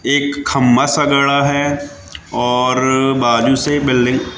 एक खंभा सा गड़ा है और बाजू से बिल्डिंग --